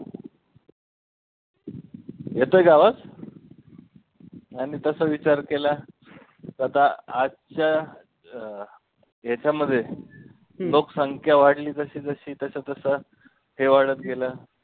येतोय का आवाज नाही मी तसा विचार केला की आता आजच्या अं ह्याच्यामध्ये लोकसंख्या वाढली जशी जशी तसं तसं ते वाढतं गेलं.